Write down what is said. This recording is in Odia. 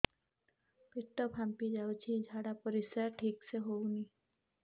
ପେଟ ଫାମ୍ପି ଯାଉଛି ଝାଡ଼ା ପରିସ୍ରା ଠିକ ସେ ହଉନି